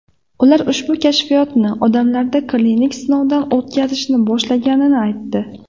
Ular ushbu kashfiyotni odamlarda klinik sinovdan o‘tkazishni boshlaganini aytdi.